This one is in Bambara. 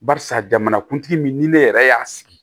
Barisa jamanakuntigi min ni ne yɛrɛ y'a sigi